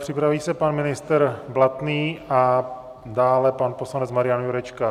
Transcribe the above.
Připraví se pan ministr Blatný a dále pan poslanec Marian Jurečka.